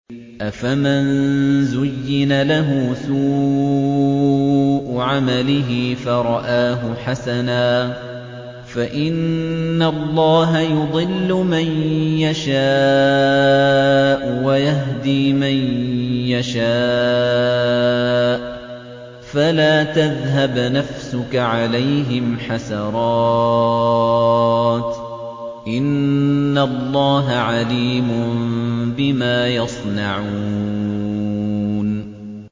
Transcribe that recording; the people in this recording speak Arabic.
أَفَمَن زُيِّنَ لَهُ سُوءُ عَمَلِهِ فَرَآهُ حَسَنًا ۖ فَإِنَّ اللَّهَ يُضِلُّ مَن يَشَاءُ وَيَهْدِي مَن يَشَاءُ ۖ فَلَا تَذْهَبْ نَفْسُكَ عَلَيْهِمْ حَسَرَاتٍ ۚ إِنَّ اللَّهَ عَلِيمٌ بِمَا يَصْنَعُونَ